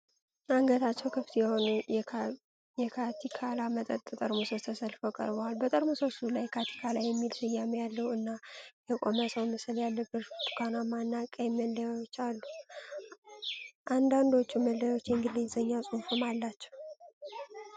አንገታቸው ክፍት የሆኑ የ"ካቲካላ" መጠጥ ጠርሙሶች ተሰልፈው ቀርበዋል። በጠርሙሶቹ ላይ "ካቲካላ" የሚል ስያሜ ያለው እና የቆመ ሰው ምስል ያለበት ብርቱካናማ እና ቀይ መለያዎች አሉ። አንዳንዶቹ መለያዎች የእንግሊዝኛ ጽሑፍም አላቸው።